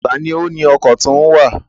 Ta ni ó ni ọkọ̀ tí ó ń wá à?